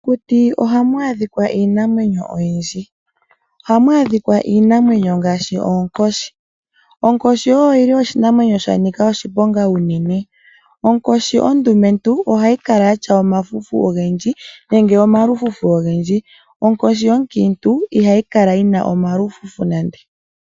Mokuti oha mu adhikwa iinamwenyo oyindji. Oha mu adhikwa iinamwenyo ngaashi oonkoshi. Onkoshi oyi li oshinamwenyo sha nika oshiponga unene. Onkoshi ondumentu ohayi kala yatya omafufu ogendji nenge omalufufu ogendji. Onkoshi onkiintu ihayi kala yina omalufufu nande.